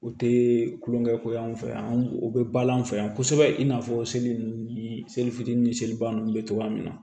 O tɛ kulonkɛ ko ye anw fɛ yan u bɛ balo an fɛ yan kosɛbɛ i n'a fɔ seli nunnu ni seli fitinin ni seliba ninnu bɛ cogoya min na